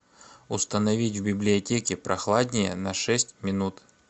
установить в библиотеке прохладнее на шесть минут